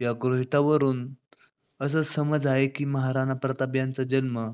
या गृहितका वरून असा समज आहे की महाराणा प्रताप जन्म